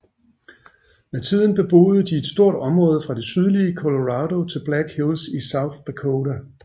Med tiden beboede de et stort område fra det sydlige Colorado til Black Hills i South Dakota